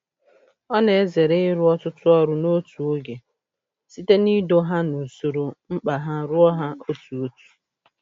Ọ na-ezere ịrụ ọtụtụ ọrụ n'otu oge, site n'ido ha n'usoro mkpa ha rụọ ha otu otu.